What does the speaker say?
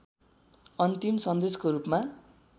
अन्तिम सन्देशको रूपमा